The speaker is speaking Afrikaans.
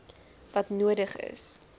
wat nodig is